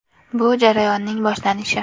Bu jarayonning boshlanishi.